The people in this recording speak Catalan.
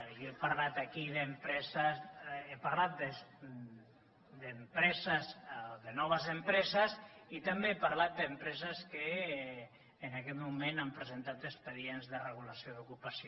jo he parlat aquí d’empreses he parlat de noves empreses i també he parlat d’empreses que en aquest moment han presentat expedients de regulació d’ocupació